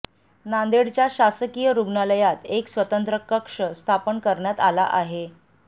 नांदेडच्या शासकीय रुग्णालयात एक स्वतंत्र कक्ष स्थापन करण्यात आला आहे